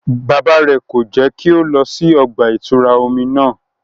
Bàbà rẹ ko jẹ ki o lọ sí ọgba-itura omí náà